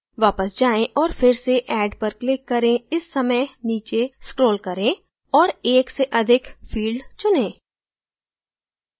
वापस जाएँ और फिर से add पर click करें इस समय नीचे scroll करें और एक से अधिक field चुनें